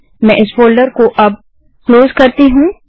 मैं इस फोल्डर को अब क्लोज करती हूँ